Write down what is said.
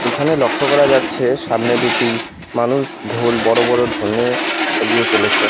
এখানে লক্ষ্য করা যাচ্ছে সামনে দুটি মানুষ ঢোল বড় বড় ঢোল নিয়ে এগিয়ে চলছে।